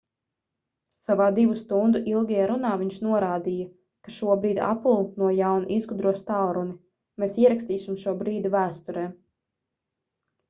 savā 2 stundu ilgajā runā viņš norādīja ka šobrīd apple no jauna izgudros tālruni mēs ierakstīsim šo brīdi vēsturē